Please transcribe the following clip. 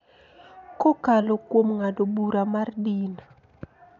Kokalo kuom ng�ado bura mar din.